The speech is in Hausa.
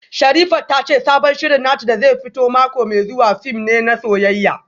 Sherifat ta ce sabon shirin nata da zai fito mako mai zuwa fim ne na soyayya